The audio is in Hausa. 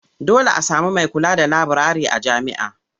Dole a sami mai kula da laburare a jami'a.